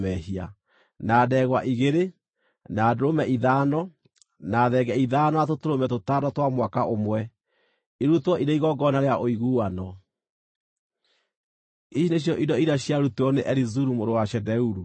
na ndegwa igĩrĩ, na ndũrũme ithano, na thenge ithano na tũtũrũme tũtano twa mwaka ũmwe, irutwo irĩ igongona rĩa ũiguano. Ici nĩcio indo iria ciarutirwo nĩ Elizuru mũrũ wa Shedeuru.